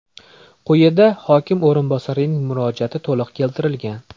Quyida hokim o‘rinbosarining murojaati to‘liq keltirilgan.